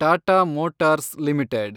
Tata Motors limited